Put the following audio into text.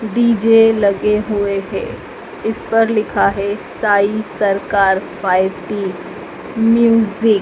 DJ लगे हुए हैं। इस पर लिखा है साई सरकार पार्टी म्यूजिक ।